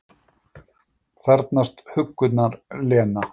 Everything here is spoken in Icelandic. Þarfnast huggunar, Lena.